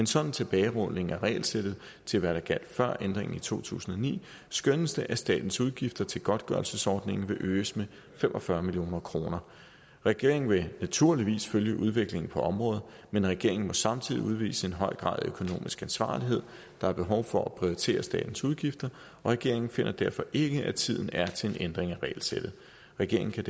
sådan tilbagerulning af regelsættet til hvad der gjaldt før ændringen i to tusind og ni skønnes det at statens udgifter til godtgørelsesordningen vil øges med fem og fyrre million kroner regeringen vil naturligvis følge udviklingen på området men regeringen må samtidig udvise en høj grad af økonomisk ansvarlighed der er behov for at prioritere statens udgifter og regeringen finder derfor ikke at tiden er til en ændring af regelsættet regeringen kan